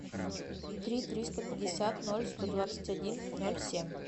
три триста пятьдесят ноль сто двадцать один ноль семь